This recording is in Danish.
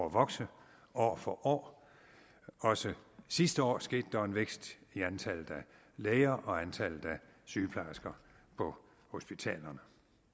at vokse år for år også sidste år skete der en vækst i antallet af læger og sygeplejersker på hospitalerne